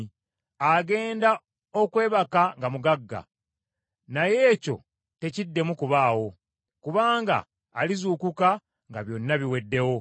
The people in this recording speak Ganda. Agenda okwebaka nga mugagga, naye ekyo tekiddemu kubaawo, kubanga alizuukuka nga byonna biweddewo.